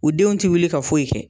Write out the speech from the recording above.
U denw tɛ wuli ka foyi kɛ.